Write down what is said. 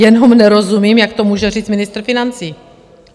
Jenom nerozumím, jak to může říct ministr financí.